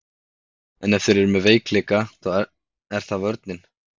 En ef þeir eru með veikleika er það vörnin.